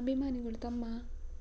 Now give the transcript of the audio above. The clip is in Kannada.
ಅಭಿಮಾನಿಗಳು ತಮ್ಮ